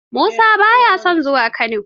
Musa ba ya son zuwa Kano.